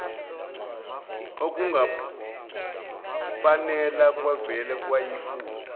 okungupamela kwavele kwayifunda